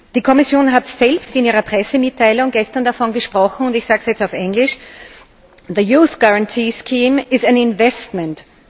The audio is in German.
Die Kommission hat selbst in ihrer Pressemitteilung gestern davon gesprochen, und ich sage es jetzt auf Englisch The Youth Guarantee scheme is an investment.